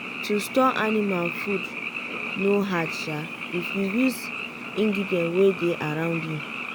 to store anima food no hard if you use ingredient wey dey around you.